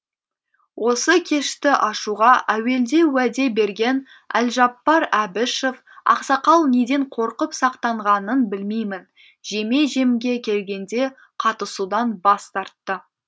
осы кешті ашуға әуелде уәде берген әлжаппар әбішев ақсақал неден қорқып сақтанғанын білмеймін жеме жемге келгенде қатысудан бас тартты